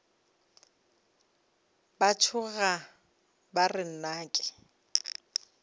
ba tšhoga ba re nnake